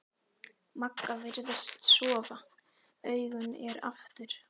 Magga virðist sofa, augun eru aftur.